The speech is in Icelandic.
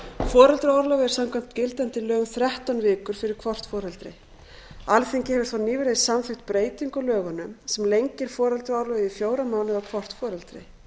er samkvæmt gildandi lögum þrettán vikur fyrir hvort foreldri alþingi hefur þó nýverið samþykkt breytingu á lögunum sem lengir foreldraorlofið í fjóra mánuði á hvort foreldri